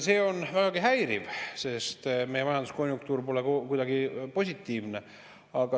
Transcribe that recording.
See on vägagi häiriv, sest meie majanduskonjunktuur pole kuidagi positiivne.